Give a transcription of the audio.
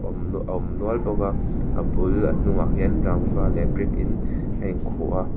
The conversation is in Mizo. a awm nual bawk a a bul a hnungah hian rangva leh brick in a in khuh a--